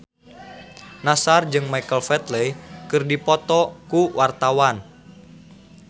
Nassar jeung Michael Flatley keur dipoto ku wartawan